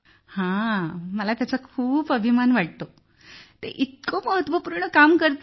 हा मला त्यांचा खूप अभिमान वाटतो ते इतके महत्वपूर्ण काम करत आहेत